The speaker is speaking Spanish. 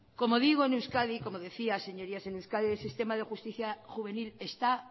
como digo en euskadi como decía el sistema de justicia juvenil está